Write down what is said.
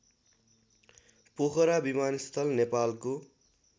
पोखरा विमानस्थल नेपालको